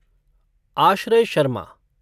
Ashray Sharma